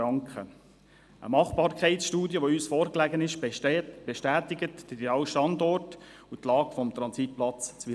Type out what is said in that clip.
Eine Machbarkeitsstudie, die uns vorlag, bestätigt Wileroltigen als idealen Standort und ideale Lage des Transitplatzes.